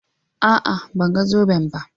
a'a ban ga zoben ba